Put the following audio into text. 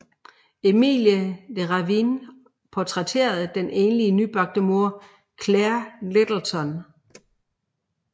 Emilie de Ravin portrætterede den enlige nybagte mor Claire Littleton